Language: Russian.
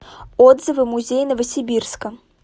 отзывы музей новосибирска